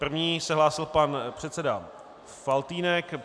První se hlásil pan předseda Faltýnek.